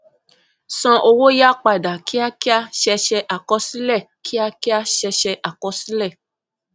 san owó yá padà kíákíá ṣẹṣẹ àkọsílẹ kíákíá ṣẹṣẹ àkọsílẹ